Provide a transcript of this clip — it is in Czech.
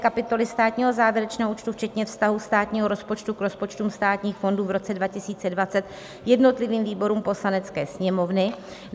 Kapitoly státního závěrečného účtu včetně vztahu státního rozpočtu k rozpočtům státních fondů v roce 2020 jednotlivým výborům Poslanecké sněmovny.